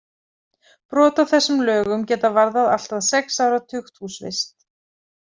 Brot á þessum lögum geta varðað allt að sex ára tukthúsvist.